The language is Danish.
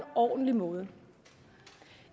ordentlig måde